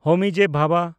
ᱦᱳᱢᱤ ᱡᱮ. ᱵᱷᱟᱵᱟ